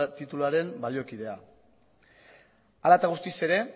tituluaren baliokidea hala eta guztiz ere